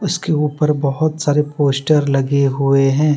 इसके ऊपर बहुत सारे पोस्टर लगे हुए हैं।